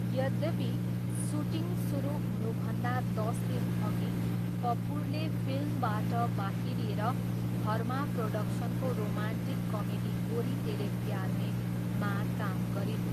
यद्यपि, सुटिङ सुरु हुनुभन्दा दस दिनअघि कपुरले फिल्मबाट बाहिरिएर धर्मा प्रोडक्सनको रोमान्टिक कमेडी गोरी तेरे प्यार में मा काम गरिन्।